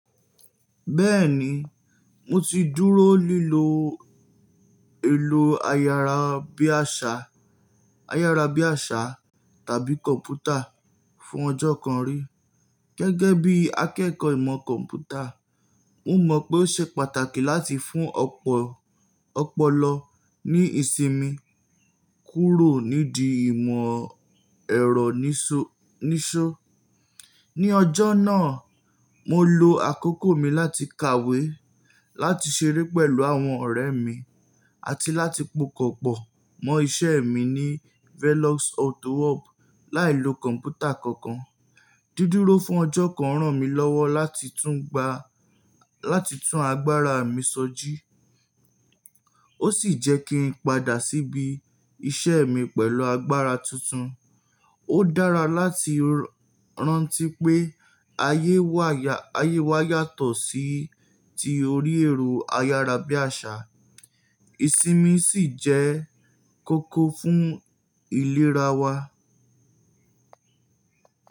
Bẹ́ẹ̀ni, mo ti dúró lílo èlò ayára bí àṣá, ayára bí àṣá tàbí kọ̀mpútà fún ọjọ́ kan rí. Gẹ́gẹ́ bí akẹ́kọ̀ọ́ ìmọ̀ kọ̀mpútà, mo mọ̀ pé ó ṣe pàtàkì láti fún ọpọ ọ̀pọ̀lọ ní ìsinmi kúrò nídi ìmọ̀ ẹ̀rọ niṣó. Ni ọjọ́ náà, mo lo àkókò mi láti kàwé, láti ṣeré pẹ̀lú àwọn ọ̀rẹ́ mi, àti láti pokọ̀pọ̀ mọ́ iṣẹ́ mi ní Velox Autowork láìlo kọ̀mpútà kankan. Dídúró fún ọjọ́ kan ràn mí lọ́wọ́ láti tun gba lati tún agbára mi sọjí, ó sì jẹ́ kí n padà síbi iṣẹ́ mi pẹ̀lú agbára tuntun. Ó dára láti rántí pé aye wa ya, ayé wa yàtọ̀ sí ti orí ẹ̀rọ ayára bí àṣá. Ìsinmi sì jẹ́ kókó fún ìlera wa.